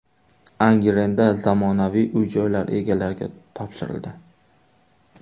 Angrenda zamonaviy uy-joylar egalariga topshirildi.